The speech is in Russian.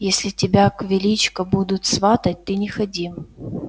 если тебя к величко будут сватать ты не ходи